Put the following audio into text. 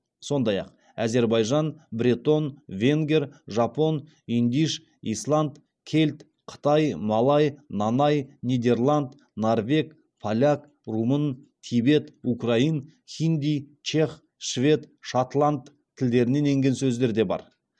сондай ақ әзербайжан бретон венгер жапон идиш исланд кельт қытай малай нанай нидерланд норвег поляк румын тибет украин хинди чех швед шотланд тілдерінен енген сөздер де бар